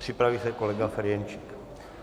Připraví se kolega Ferjenčík.